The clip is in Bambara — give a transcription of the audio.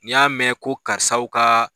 N y'a mɛn ko karisaw ka